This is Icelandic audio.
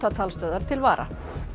bátatalstöðvar til vara